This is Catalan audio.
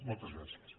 moltes gràcies